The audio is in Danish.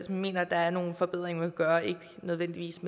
mener der er nogle forbedringer gøre ikke nødvendigvis